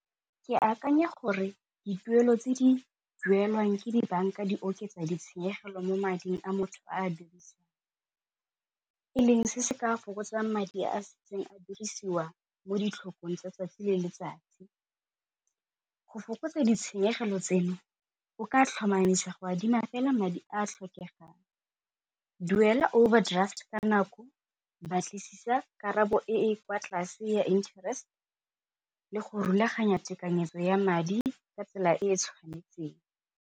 Ke akanya gore dituelo tse di duelwang ke di banka di oketsa ditshenyegelo mo mading a motho a dirisang, e leng se se ka fokotsang madi a setseng a dirisiwa mo ditlhakong tsa tsatsi le letsatsi, go fokotsa ditshenyegelo tseno o ka tlhomamisa go adima fela madi a a tlhokegang, duela overdraft ka nako batlisisa karabo e e kwa tlase ya interest le go rulaganya tekanyetso ya madi ka tsela e e tshwanetseng.